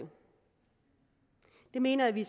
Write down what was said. mener jeg vi